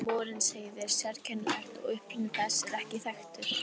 Örnefnið Morinsheiði er sérkennilegt og uppruni þess er ekki þekktur.